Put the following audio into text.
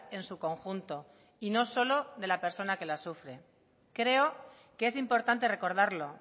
en su conjunto y no solo de la persona que la sufre creo que es importante recordarlo